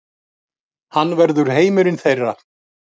Hann verður heimurinn þeirra.